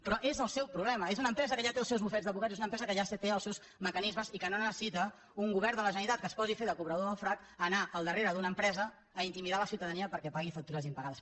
però és el seu problema és una empresa que ja té els seus bufets d’advocats és una empresa que ja té els seus mecanismes i que no necessita un govern de la generalitat que es posi a fer de cobrador del frac anar al darrere d’una empresa a intimidar la ciutadania perquè pagui factures impagades